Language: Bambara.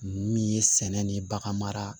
Min ye sɛnɛ ni bagan mara